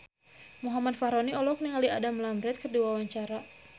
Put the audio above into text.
Muhammad Fachroni olohok ningali Adam Lambert keur diwawancara